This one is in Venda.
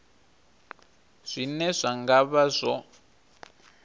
zwine zwa nga vha zwo